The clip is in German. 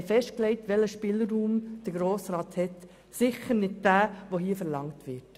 Wir haben festgelegt, welchen Spielraum der Grosse Rat hat – sicher nicht jenen, der hier verlangt wird.